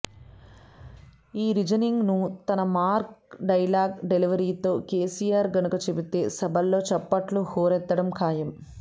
ఈ రీజనింగ్ ను తన మార్క్ డైలాగ్ డెలివరీతో కెసిఆర్ గనుక చెబితే సభల్లో చప్పట్లు హోరెత్తడం ఖాయం